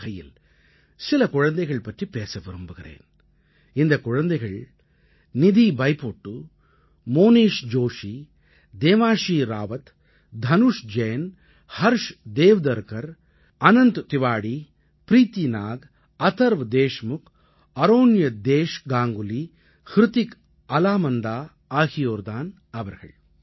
அந்த வகையில் சில குழந்தைகள் பற்றிப் பேச விரும்புகிறேன் இந்தக் குழந்தைகள் நிதி பைபொட்டு மோனீஷ் ஜோஷீ தேவான்ஷீ ராவத் தனுஷ் ஜெயின் ஹர்ஷ் தேவ்தர்கர் அனந்த் திவாடீ ப்ரீத்தி நாக் அதர்வ் தேஷ்முக் அரோன்யதேஷ் காங்குலி ஹ்ரிதிக் அலா மந்தா ஆகியோர் தான் அவர்கள்